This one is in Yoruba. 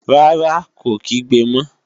Rárá, kò kígbe mọ